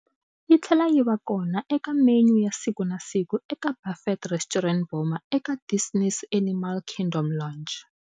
Yitlhela yiva eka menu ya siku na siku eka buffet restaurant Boma eka Disney's Animal Kingdom Lodge.